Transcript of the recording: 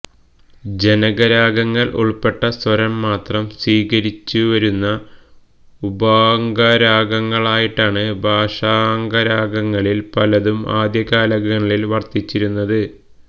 ജനകരാഗങ്ങൾ ഉൾപ്പെട്ട സ്വരം മാത്രം സ്വീകരിച്ചുവരുന്ന ഉപാംഗരാഗങ്ങളായിട്ടാണ് ഭാഷാംഗരാഗങ്ങളിൽ പലതും ആദ്യകാലങ്ങളിൽ വർത്തിച്ചിരുന്നത്